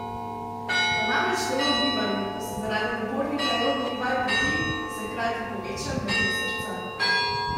Ko je namreč telo v gibanju, ko se zaradi napornih aerobnih vaj poti, se hkrati poveča bitje srca.